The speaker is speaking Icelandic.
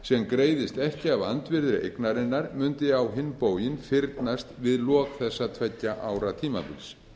sem greiðist ekki af andvirði eignarinnar mundi á hinn bóginn fyrnast við lok þessa tveggja ára tímabils